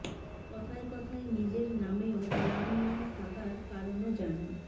কথায় কথায় নিজের নামেও রাম নাম থাকার কারণও জানান